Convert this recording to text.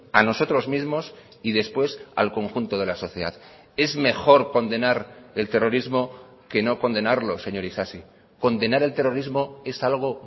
a nosotros mismos y después al conjunto de la sociedad es mejor condenar el terrorismo que no condenarlo señor isasi condenar el terrorismo es algo